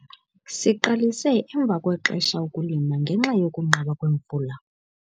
Siqalise emva kwexesha ukulima ngenxa yokunqaba kwemvula.